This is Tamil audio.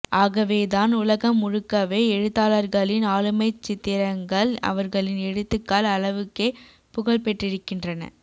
ஆகவேதான் உலகம் முழுக்கவே எழுத்தாளர்களின் ஆளுமைச்சித்திரங்கள் அவர்களின் எழுத்துக்கள் அளவுக்கே புகழ்பெற்றிருக்கின்றன